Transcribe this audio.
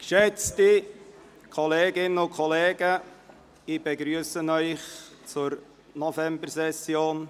Geschätzte Kolleginnen und Kollegen, ich begrüsse Sie zur Novembersession.